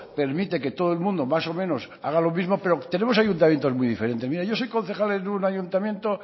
permite que todo el mundo más o menos haga lo mismo pero tenemos ayuntamientos muy diferentes mire yo soy concejal en un ayuntamiento